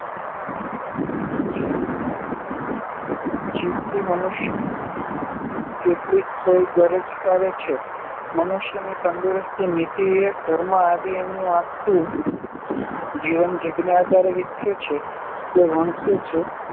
જીભથી મનુષ્યના સંસ્કારોની કેટલીક સોય ગરજ સારે છે. મનુષ્યની તંદુરસ્તી, નીતિ, વિવેક, ધર્મ આદિ એનું આખું જીવન જીભને આધારે વિકસે છે કે વણસે છે.